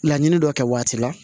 Laɲini dɔ kɛ waati la